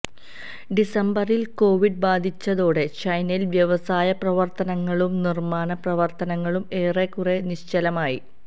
ഡിസംബറില് Covid ബാധിച്ചതോടെ ചൈനയില് വ്യാവസായ പ്രവര്ത്തനങ്ങളും നിര്മ്മാണ പ്രവര്ത്തനങ്ങളും ഏറെക്കുറെ നിശ്ചലമായി